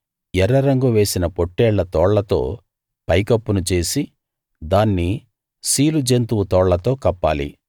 ఎర్ర రంగు వేసిన పొట్టేళ్ల తోళ్లతో పై కప్పును చేసి దాన్ని సీలు జంతువు తోళ్లతో కప్పాలి